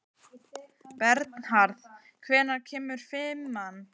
Bernharð, hvenær kemur fimman?